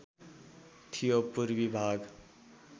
थियो पूर्वी भाग